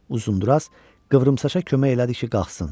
Uzundraz qıvrımsaça kömək elədi ki, qalxsın.